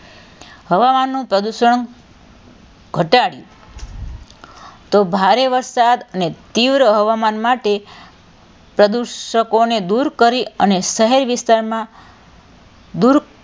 હવામાનનું પ્રદુષણ ઘટાડી તો ભારે વરસાદ અને તીવ્ર હવામાન માટે પ્રદુષકો ને દુર કરી અને શહેરી વિસ્તારમાં દુર,